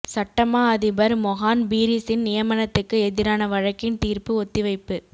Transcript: சட்டமா அதிபர் மொஹான் பீரிஸின் நியமனத்துக்கு எதிரான வழக்கின் தீர்ப்பு ஒத்திவைப்பு